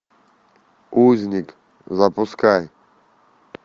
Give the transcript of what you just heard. узник запускай